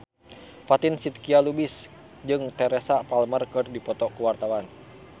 Fatin Shidqia Lubis jeung Teresa Palmer keur dipoto ku wartawan